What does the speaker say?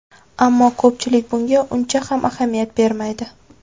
Ammo ko‘pchilik bunga uncha ham ahamiyat bermaydi.